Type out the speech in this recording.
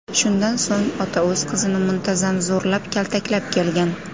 Shundan so‘ng ota o‘z qizini muntazam zo‘rlab, kaltaklab kelgan.